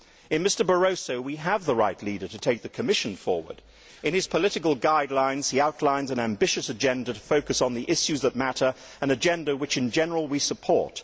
In Mr Barroso, we have the right leader to take the Commission forward. In his political guidelines, he outlines an ambitious agenda to focus on the issues that matter, an agenda which, in general, we support.